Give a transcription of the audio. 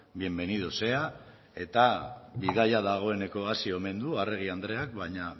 bienvenido sea eta bidaia dagoeneko hasi omen du arregi andreak baina